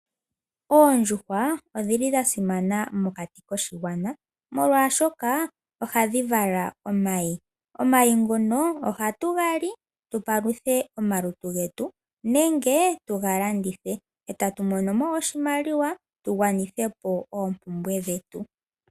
Oondjuhwa odhili dha simana mokati koshigwana molwashoka ohadhi vala omayi ,omayi ngono ohatu gali tupaluthe omalutu getu nenge tuga landithe eta tu mono mo oshilimaliwa tu gwanithithepo oompumbwe dhetu